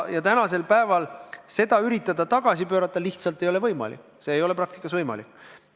Ja tänasel päeval seda tagasi pöörata lihtsalt ei ole võimalik, see ei ole praktikas võimalik.